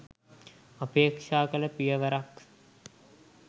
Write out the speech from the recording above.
අපේක්ෂා කළ පියවරක්